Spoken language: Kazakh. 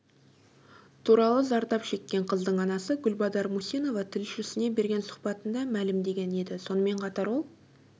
туралы зардап шеккен қыздың анасы гүлбадар мусинова тілшісіне берген сұхбатында мәлімдеген еді сонымен қатар ол